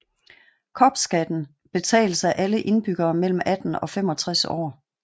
Kopskatten betales af alle indbyggere mellem 18 og 65 år